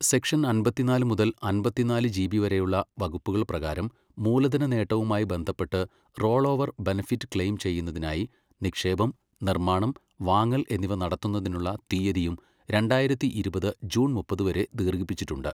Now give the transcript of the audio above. Section അമ്പത്തിനാല് മുതൽ അമ്പത്തിനാല് ജിബി വരെയുള്ള വകുപ്പുകൾ പ്രകാരം മൂലധന നേട്ടവുമായി ബന്ധപ്പെട്ട് റോൾ ഓവർ ബെനഫിറ്റ് ക്ലെയിം ചെയ്യുന്നതിനായി നിക്ഷേപം, നിർമ്മാണം, വാങ്ങൽ എന്നിവ നടത്തുന്നതിനുള്ള തീയതിയും രണ്ടായിരത്തി ഇരുപത് ജൂൺ മുപ്പത് വരെ ദീർഘിപ്പിച്ചിട്ടുണ്ട്.